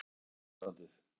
Ekki bætti það ástandið.